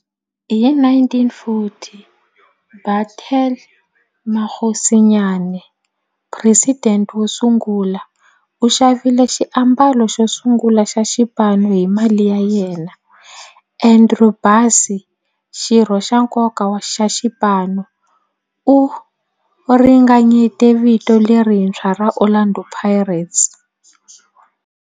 Hi 1940, Bethuel Mokgosinyane, president wosungula, u xavile xiambalo xosungula xa xipano hi mali ya yena. Andrew Bassie, xirho xa nkoka xa xipano, u ringanyete vito lerintshwa ra 'Orlando Pirates'.